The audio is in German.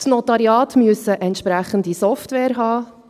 Die Notariate müssen entsprechende Software haben: